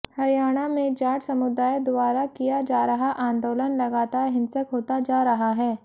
हरियाणा में जाट समुदाय द्धारा किया जा रहा आंदोलन लगातार हिंसक होता जा रहा है